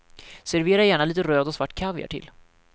Servera gärna lite röd och svart kaviar till.